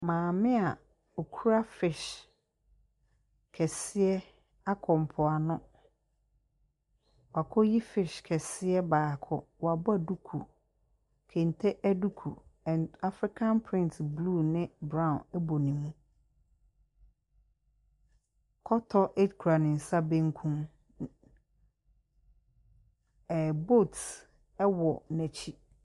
Maame a ɔkura fish kɛseɛ akɔ mpoano. Wakɔyi fish kɛseɛ baako. Wabɔ duku. Kente duku and African print blue ne brown bɔ ne mu. Kɔtɔ kura ne nsa benkum. Ɛɛ oat wɔ n'akyi.